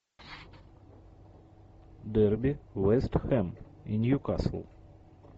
дерби вест хэм и ньюкасл